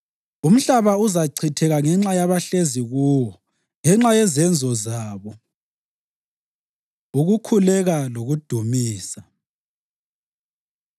Umhlaba uzachitheka ngenxa yabahlezi kuwo, ngenxa yezenzo zabo. Ukukhuleka Lokudumisa